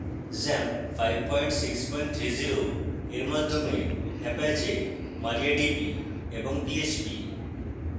xampp 5630 এর মাধ্যমে apache mariadb এবং php